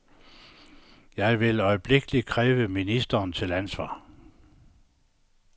Jeg vil øjeblikkelig kræve ministeren til ansvar.